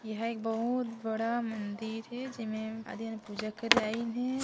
एहा एक बहुत बड़े मंदिर हे जेमे आदमी मन पूजा करे आइन हे।